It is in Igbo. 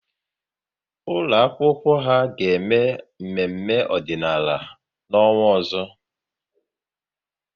Ụlọ akwụkwọ ha ga-eme mmemme ọdịnala n'ọnwa ọzọ